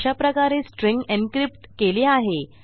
अशाप्रकारे स्ट्रिंग encryptकेली आहे